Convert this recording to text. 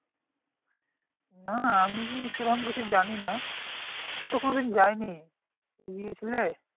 না আমি সেরকম কিছু জানিনা আমি তো কোনদিন যায়নি তুমি গিয়েছিলে?